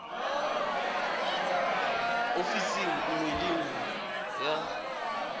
ofising nngwe le nngwe ya